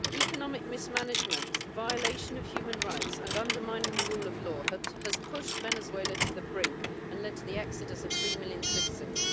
Economic mismanagement, the violation of human rights and undermining the rule of law has pushed Venezuela to the brink and led to the exodus of three million citizens.